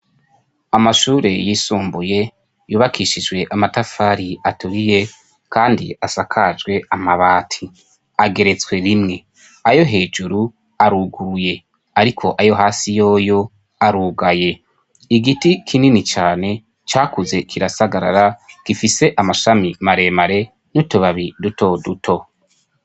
Amashure yisumbuye yubakishijwe amatafari aturiye kandi asakajwe amabati, ageretswe rimwe. Ayo hejuru aruguruye ariko ayo hasi yoyo arugaye. Igiti kinini cane cakuze kirasagarara gifise amashami maremare n'utubabi duto duto.